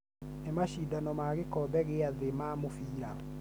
Nĩ macindano ma gĩkombe gĩa thĩ ma mũbira